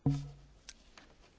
Pani Przewodnicząca!